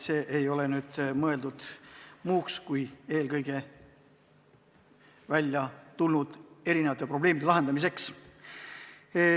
See ei ole mõeldud muuks kui eelkõige esiletulnud probleemide lahendamiseks.